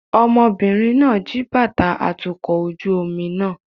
Ọmọbìnrin náà jí bàtà atukọ̀ ojú omi náà